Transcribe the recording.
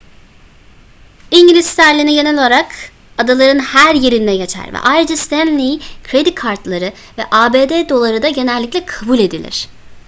i̇ngiliz sterlini genel olarak adaların her yerinde geçer ve ayrıca stanley kredi kartları ve abd doları da genellikle kabul edilir